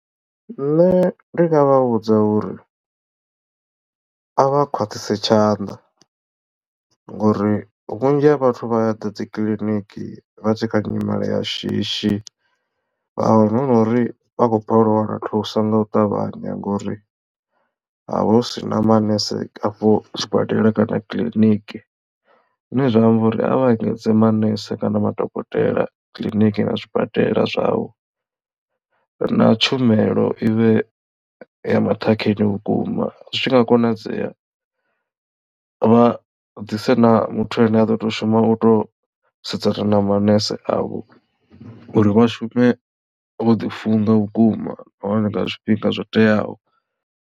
Nṋe ndi nga vha vhudza uri a vha khwaṱhise tshanḓa ngori vhunzhi ha vhathu vha ya ḓa dzikiḽiniki vha tshikha nyimele ya shishi vha wana hu nori vha khou balelwa u wana thuso nga u ṱavhanya ngori havha havha hu sina manese a fho sibadela kana kiḽiniki. Zwine zwa amba uri a vha engedze manese kana madokotela kiḽiniki na zwibadela zwavho na tshumelo ivhe ya maṱhakheni vhukuma zwi tshi nga konadzea vha dise na muthu ane a ḓo to shuma u to sedzana na manese avho uri vha shume vho ḓi funga vhukuma nahone nga zwifhinga zwo teaho.